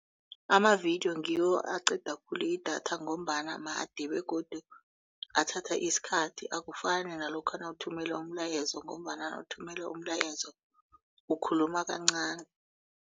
Amavidiyo ngiwo aqeda khulu idatha ngombana made begodu athatha isikhathi akufani nalokha nawuthumela umlayezo ngombana nawuthumela umlayezo ukhuluma kancani.